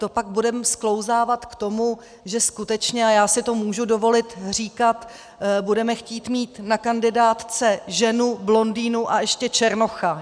To pak budeme sklouzávat k tomu, že skutečně - a já si to můžu dovolit říkat - budeme chtít mít na kandidátce ženu, blondýnu a ještě černocha.